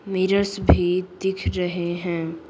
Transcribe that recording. Mirrors भी दिख रहे हैं।